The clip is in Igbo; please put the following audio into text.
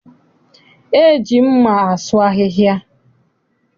E ji mma asụ ahịhịa.